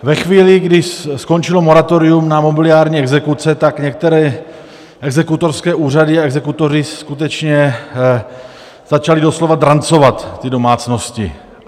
Ve chvíli, kdy skončilo moratorium na mobiliární exekuce, tak některé exekutorské úřady a exekutoři skutečně začali doslova drancovat ty domácnosti.